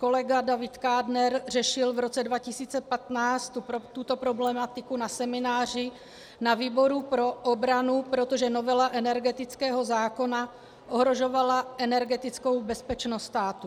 Kolega David Kádner řešil v roce 2015 tuto problematiku na semináři na výboru pro obranu, protože novela energetického zákona ohrožovala energetickou bezpečnost státu.